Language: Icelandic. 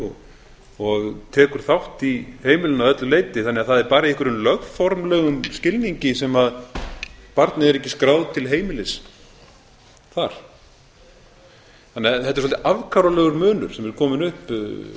heimilinu og tekur þátt í heimilinu að öllu leyti þannig að það er bara í einhverjum lögformlegum skilningi sem barnið er ekki skráð til heimilis þar þannig að þetta er svolítið afkáralegur munur sem er kominn upp